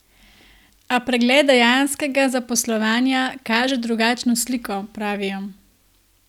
A pregled dejanskega zaposlovanja kaže drugačno sliko, pravijo.